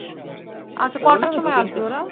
আচ্ছা, কটার সময় আসবে ওরা?